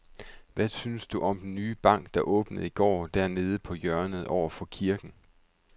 Hvad synes du om den nye bank, der åbnede i går dernede på hjørnet over for kirken?